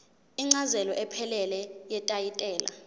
incazelo ephelele yetayitela